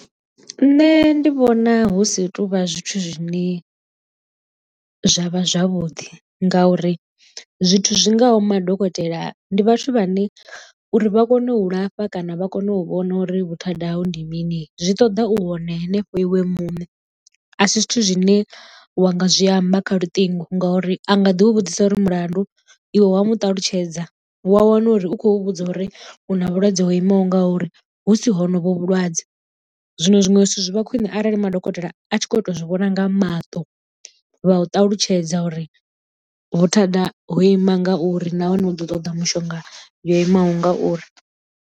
Nṋe ndi vhona hu si tovha zwithu zwine zwavha zwavhuḓi ngauri zwithu zwi ngaho madokotela ndi vhathu vhane uri vha kone u lafha kana vha kone u vhona uri vhuthada hau ndi mini zwi ṱoḓa u hone hanefho iwe muṋe a si zwithu zwine wa nga zwi amba kha lutingo ngo uri a nga ḓi u vhudzisa uri mulandu iwe wa mu ṱalutshedza wa wana uri u khou vhudza uri u na vhulwadze ho imaho nga uri hu si honovhu vhulwadze. Zwino zwiṅwe zwithu zwi vha khwine arali madokotela a tshi kho to zwi vhona nga maṱo vha u ṱalutshedza uri vhuthada ho ima ngauri nahone u ḓo ṱoḓa mishonga yo imaho ngauri.